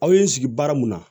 Aw ye n sigi baara mun na